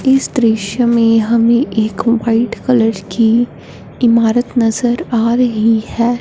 इस दृश्य में हमें एक वाइट कलर की इमारत नजर आ रही है।